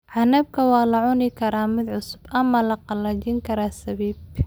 Canabka waa la cuni karaa mid cusub ama la qalajin karaa sabiib.